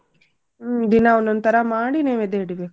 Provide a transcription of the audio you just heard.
ಹ್ಮ್ ದಿನಾ ಒಂದೊಂದ್ ತರಾ ಮಾಡಿ ನೈವೇದ್ಯ ಹಿಡಿಬೇಕ.